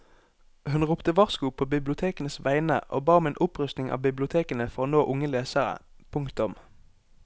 Hun ropte varsko på bibliotekenes vegne og ba om en opprustning av bibliotekene for å nå unge lesere. punktum